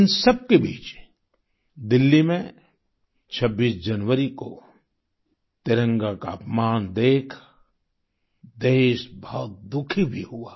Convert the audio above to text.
इन सबके बीच दिल्ली में 26 जनवरी को तिरंगे का अपमान देख देश बहुत दुखी भी हुआ